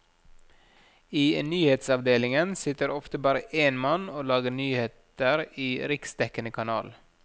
I nyhetsavdelingen sitter ofte bare én mann og lager nyheter i riksdekkende kanal.